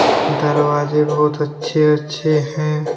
दरवाजे बहुत अच्छे अच्छे हैं।